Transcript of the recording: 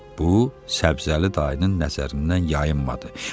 Bu, səbzəli dayının nəzərindən yayınmadı.